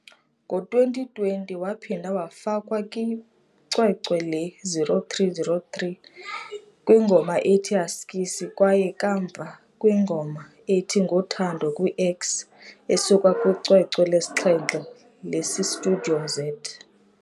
Ngo-2020, waphinda wafakwa kwicwecwe le-, 0303 kwingoma ethi "Askies" kwaye kamva kwingoma ethi 'Ngothando kwi-Ex", esuka kwicwecwe lesixhenxe lesistudiyo z